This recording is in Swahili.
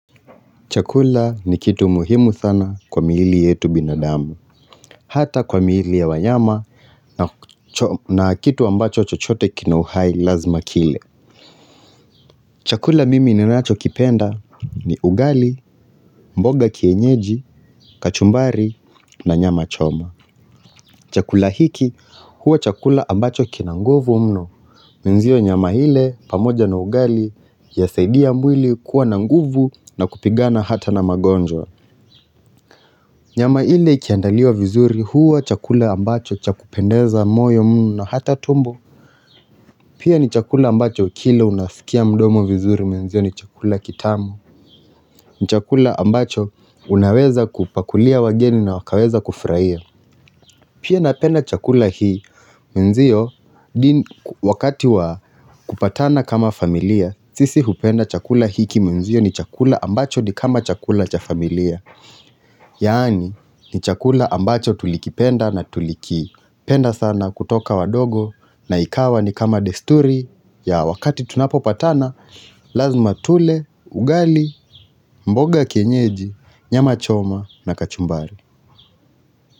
Chakula ni kitu muhimu sana kwa mwili yetu binadamu Hata kwa miili ya wanyama na kitu ambacho chochote kina uhai lazima kile Chakula mimi ninacho kipenda ni ugali, mboga kienyeji, kachumbari na nyama choma Chakula hiki huwa chakula ambacho kina nguvu mno Mwenzio nyama ile pamoja na ugali yasaidia mwili kuwa na nguvu na kupigana hata na magonjwa Nyama ile ikiandaliwa vizuri huwa chakula ambacho chakupendeza moyo mno na hata tumbo Pia ni chakula ambacho kila unafikia mdomo vizuri mwenzio ni chakula kitamu ni chakula ambacho unaweza kupakulia wageni na wakaweza kufurahia Pia napenda chakula hii mwenzio wakati wa kupatana kama familiam, sisi hupenda chakula hiki mwenzio ni chakula ambacho ni kama chakula cha familia Yaani ni chakula ambacho tulikipenda na tulikipenda sana kutoka wadogo na ikawa ni kama desturi ya wakati tunapopatana lazima tule, ugali, mboga ya kienyeji, nyama choma na kachumbari.